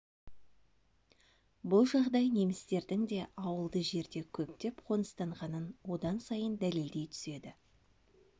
бұл жағдай немістердің де ауылды жерде көптеп қоныстанғанын одан сайын дәлелдей түседі